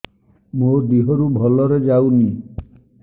ମୋ ଦିହରୁ ଭଲରେ ଯାଉନି